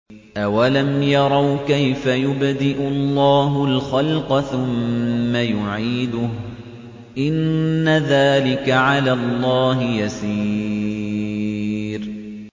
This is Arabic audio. أَوَلَمْ يَرَوْا كَيْفَ يُبْدِئُ اللَّهُ الْخَلْقَ ثُمَّ يُعِيدُهُ ۚ إِنَّ ذَٰلِكَ عَلَى اللَّهِ يَسِيرٌ